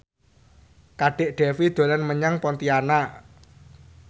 Kadek Devi dolan menyang Pontianak